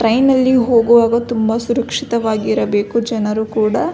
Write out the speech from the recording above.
train ನಲ್ಲಿ ಹೋಗುವಾಗ ತುಂಬ ಸುರಕ್ಷಿತವಾಗಿರಬೇಕು ಜನರು ಕೂಡ --